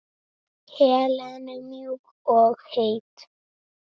Helenu mjúk og heit.